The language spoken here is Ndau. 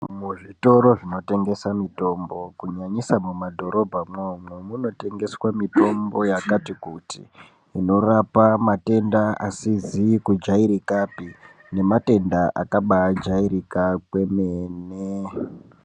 Muzvitoro zvinotengeswa mutombo kunyanyisa mumadhorobhamwomwo munotengeswa mitombo yakati kuti inorapa matenda asizi kujairikapi nematenda akabajairika kwemene.